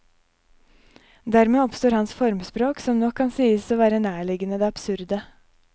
Dermed oppstår hans formspråk, som nok kan sies å være nærliggende det absurde.